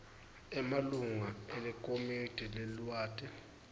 emalunga elikomidi leliwadi